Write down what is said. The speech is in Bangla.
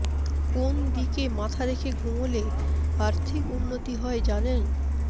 কোন দিকে মাথা রেখে ঘুমোলে আর্থিক উন্নতি হয় জানেন